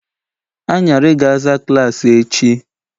Anyarị ga-aza klaasị echi